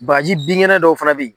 Bagaji bingɛnɛn dɔw fana b'i.